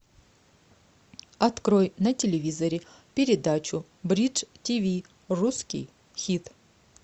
открой на телевизоре передачу бридж тиви русский хит